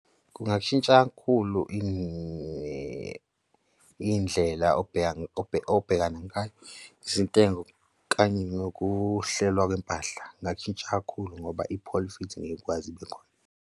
Kungashintsha kakhulu iy'ndlela obhekana ngayo izintengo kanye nokuhlelwa kwempahla. Kungashintsha kakhulu ngoba i-profit ngeke kukwazi ibe khona.